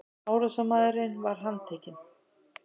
Árásarmaðurinn var handtekinn